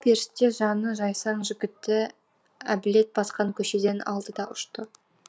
ажал періште жаны жайсаң жігітті әбілет басқан көшеден алды да ұшты